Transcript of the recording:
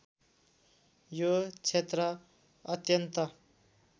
यो क्षेत्र अत्यन्त